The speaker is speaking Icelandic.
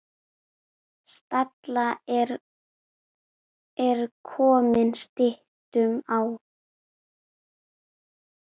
Stalla er komið styttum á.